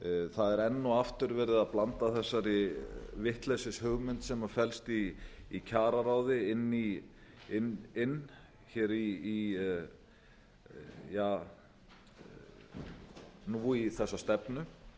það er enn og aftur verið að blanda þessari vitleysishugmynd sem flest í kjararáði inn hér í ja nú í þessa stefnu